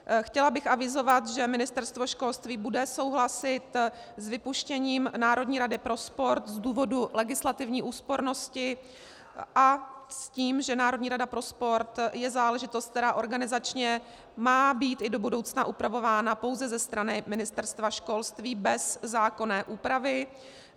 Chtěla bych avizovat, že Ministerstvo školství bude souhlasit s vypuštěním Národní rady pro sport z důvodu legislativní úspornosti a s tím, že Národní rada pro sport je záležitost, která organizačně má být i do budoucna upravována pouze ze strany Ministerstva školství bez zákonné úpravy.